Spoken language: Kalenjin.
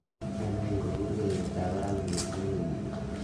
nee neigu burgeiyeta ab barak missing wigini